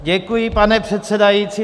Děkuji, pane předsedající.